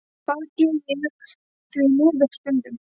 Það geri ég því miður stundum.